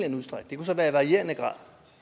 herre igen